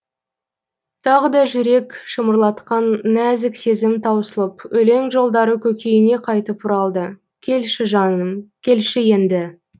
тағы да жүрек шымырлатқан нәзік сезім таусылып өлең жолдары көкейіне қайтып оралды келші жаным келші енді